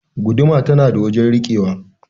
Guuduma tana da wajen rikewa.